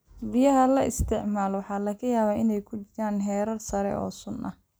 Biyaha la isticmaalo waxaa laga yaabaa inay ku jiraan heerar sare oo sun ah.